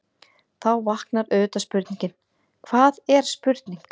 Þá vaknar auðvitað spurningin: hvað er spurning?.